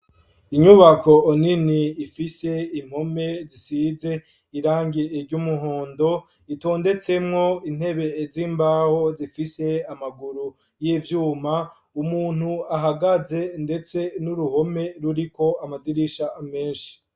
Inyubako nini ifise impome zisize irangi ry'umuhondo itondetsemwo intebe z'imbaho zifise amaguru y'ivyuma umuntu ahagaze ndetse n'uruhome ruriko amadirisha menshi.